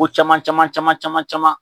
Ko caman caman caman caman caman